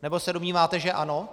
Nebo se domníváte, že ano?